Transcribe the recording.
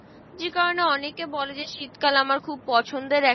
যে কারনে অনেকে বলে যে শীত কাল আমার খুব পছন্দের একটা